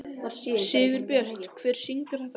Sigurbjört, hver syngur þetta lag?